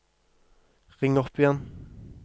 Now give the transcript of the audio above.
ring opp igjen